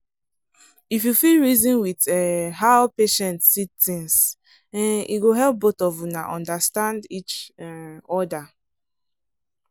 if you fit reason with um how patient see things um e go help both of una understand each um other.